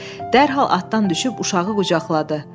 Dərhal atdan düşüb uşağı qucaqladı.